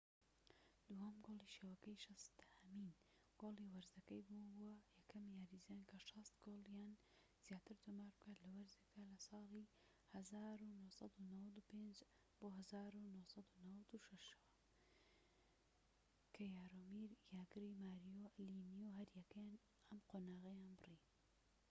دووهەم گۆڵی شەوەکەی، شەستەهەمین گۆڵی وەرزەکەی بوو، بووە یەکەم یاریزان کە ٦٠ گۆڵ یان زیاتر تۆمار بکات لە وەرزێکدا لە ساڵی ١٩٩٥-٩٦ ەوە، کە یارۆمیر یاگر و ماریۆ لیمیو هەریەکەیان ئەم قۆناغەیان بڕی